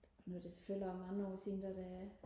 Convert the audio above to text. nu er det selvfølgelig også mange år siden det var da